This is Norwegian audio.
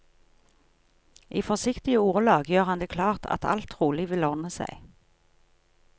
I forsiktige ordelag gjør han det klart at alt trolig vil ordne seg.